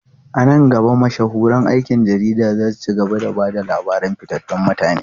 A nan gaba, mashahuran aikin jarida za su ci gaba da ba da labaran fitattun mutane.